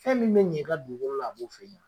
Fɛn min bɛ ɲɛ i ka dugukolola o b'o ye